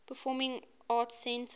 performing arts center